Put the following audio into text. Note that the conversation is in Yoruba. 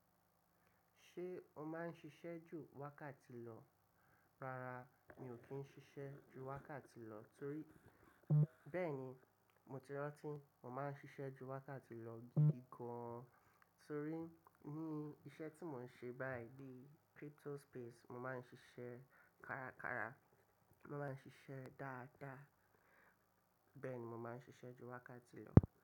Ṣé o máa ń ṣiṣẹ́ ju wákàtí lọ? Rárá, mi ò kí ń ṣiṣẹ́ ju wákàtí lọ torí bẹ́ẹ̀ni mo ti rántí mo máa ń ṣiṣẹ́ ju wákàtí lọ gidi gan torí ní iṣẹ́ tí mò ń ṣe báyìí bí crypto space, mo máa ń ṣiṣẹ́ kárakára, mo máa ń ṣiṣẹ́ dáadáa, bẹ́ẹ̀ ni mo máa ń ṣiṣẹ́ ju wákàtí lọ.